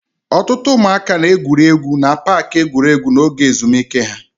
Ọtụtụ ụmụaka na-egwuri egwu na paaki egwuregwu n'oge ezumike ha.